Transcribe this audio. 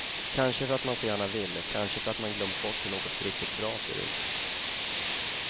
Kanske för att man så gärna vill, kanske för att man glömt bort hur något riktigt bra ser ut.